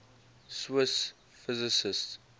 swiss physicists